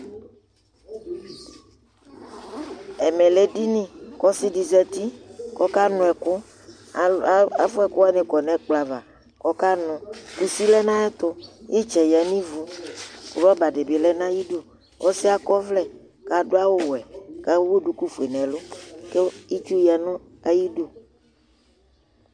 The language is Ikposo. Ɛmɛ lɛ edini ɔsi di zati kɔka nuɛku Afuɛkuwani tdue nɛkplɔ ava Isi lɛ nu ɛkplɔ ava itsɛ ya nivu ,Rɔba dibi lɛ nu ayidu Ɔsiɛ lakɔ vlɛ lafuawu ku lewu duku nɛlu